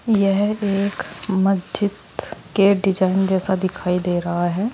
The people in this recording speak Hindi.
यह एक मस्जिद के डिजाइन जैसा दिखाई दे रहा है।